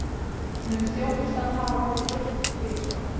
Mun þjónustan hafa verið veitt tvisvar